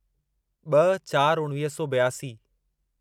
ॿ चार उणिवीह सौ ॿियासी